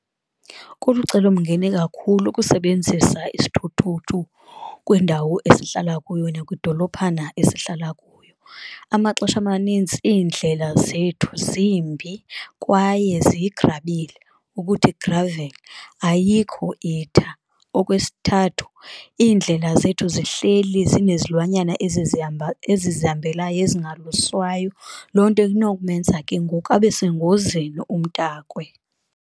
Kulucelomngeni kakhulu ukusebenzisa isithuthuthu kwindawo esihlala kuyo nakwidolophana esihlala kuyo, amaxesha amanintsi iindlela zethu zimbi kwaye ziyigrabile ukuthi gravel ayikho itha. Okwesithathu, iindlela zethu zihleli zinezilwanyana ezizihamba ezizihambelayo ezingaluswayo, loo nto inokumenza ke ngoku abesengozini umntakwe.